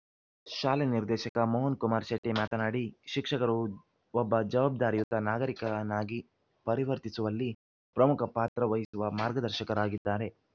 ಶಾಲೆ ನಿರ್ದೇಶಕ ಮೋಹನ್‌ಕುಮಾರ್‌ ಶೆಟ್ಟಿಮಾತನಾಡಿ ಶಿಕ್ಷಕರು ಒಬ್ಬ ಜವಾಬ್ದಾರಿಯುತ ನಾಗರಿಕನಾಗಿ ಪರಿವರ್ತಿಸುವಲ್ಲಿ ಪ್ರಮುಖ ಪಾತ್ರ ವಹಿಸುವ ಮಾರ್ಗದರ್ಶಕರಾಗಿದ್ದಾರೆ